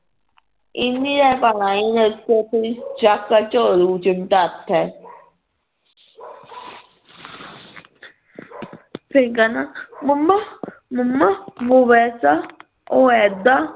ਫਿਰ ਕਹਿਣਾ mamma mamma ਉਹ ਐਦਾ ਉਹ ਐਦਾ